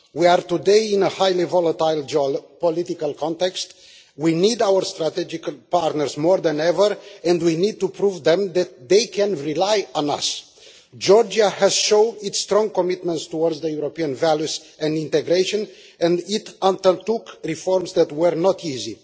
We are today in a highly volatile political context, we need our strategic partners more than ever, and we need to prove to them that they can rely on us. Georgia has shown its strong commitments towards European values and integration, and it undertook reforms that were not easy.